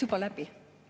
Juba läbi!